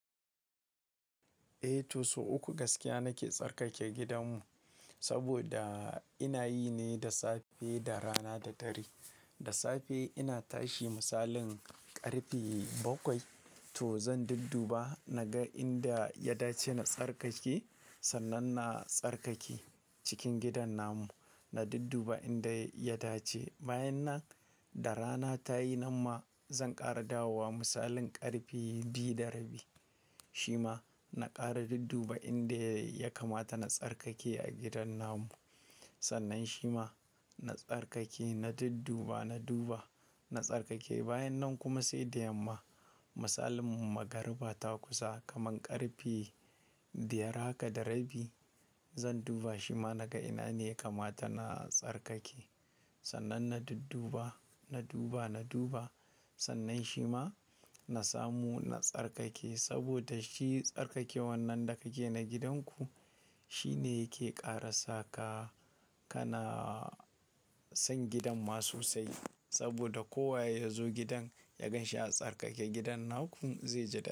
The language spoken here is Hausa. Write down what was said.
Eh, to sau uku gaskiya nake tsarkake gidanmu saboda ina yi ne da safe, da rana da dare. Da safe ina tashi, misalin karfe bakwai to zan dudduba na ga inda ya dace na tsarkake, sannan na tsarkake cikin gidan namu. Na dudduba inda ya dace. Bayan nan, da rana ta yi namma, zan ƙaradawowa misalin ƙarfe biyu da rabi. Shi ma na ƙara dudduba inda ya kamata na tsarkake a gidan namu. Sannan shi ma na tsarkake, na dudduba, na duba, na tsarkake. Bayan nan kuma sai da yamma, misalin magriba ta kusa kaman ƙarfe biyar haka da rabi, zan duba shi ma naga ina ne yakamata na tsarkake. Sannan na dudduba, na duba, na duba sannan shi ma na samu na tsarkake saboda shi tsarkaken wannan da kake na gidanku shi ne yake ƙara saka kana son gidan ma sosai saboda kowa ya zo gidan ya gan shi a tsarkake, gidan naku zai ji dadi.